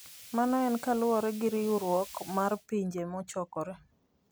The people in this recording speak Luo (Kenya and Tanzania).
Mano en kaluwore gi riwruok mar Pinje Mochokore.